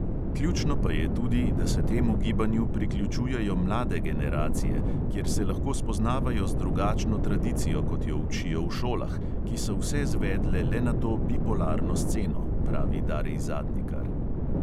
"Ključno pa je tudi, da se temu gibanju priključujejo mlade generacije, kjer se lahko spoznavajo z drugačno tradicijo, kot jo učijo v šolah, ki so vse zvedle le na to bipolarno sceno," pravi darij zadnikar.